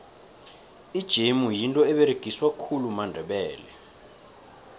ijemu yinto eberegiswa khulu mandebele